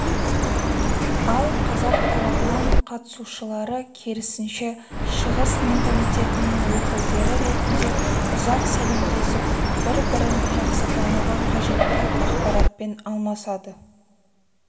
ал қазақ тарапының қатысушылары керісінше шығыс менталитетінің өкілдері ретінде ұзақ сәлемдесіп бір-бірін жақсы тануға қажетті ақпаратпен алмасады